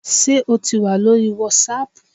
Sé o tì wà lórí wàsáàpù?